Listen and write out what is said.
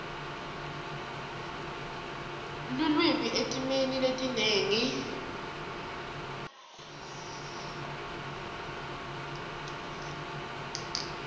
lulwimi etimeni letinengi